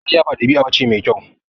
Ƙarya ba ɗabi'a ce mai kyau.